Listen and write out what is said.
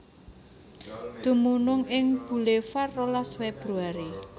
Dumunung ing Bulevar rolas Februari